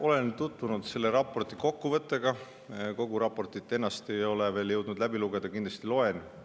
Olen tutvunud selle raporti kokkuvõttega, kogu raportit ennast ei ole veel jõudnud läbi lugeda, kindlasti loen.